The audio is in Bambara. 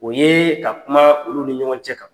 O ye ka kuma olu ni ɲɔgɔn cɛ kan.